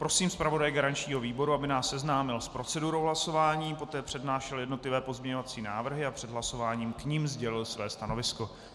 Prosím zpravodaje garančního výboru, aby nás seznámil s procedurou hlasování, poté přednášel jednotlivé pozměňovací návrhy a před hlasováním k nim sdělil své stanovisko.